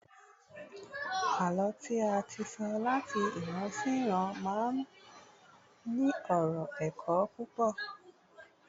àlọ tí a ti so lat ìran sí iran ma n ní ọrọ ẹkọ púpò